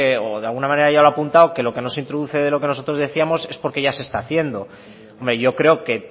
o de alguna manera ya lo ha apuntado que lo que no se introduce de lo que nosotros decíamos es porque ya se está haciendo hombre yo creo que